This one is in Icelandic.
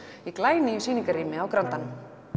í glænýju sýningarrými á grandanum